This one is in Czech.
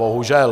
Bohužel.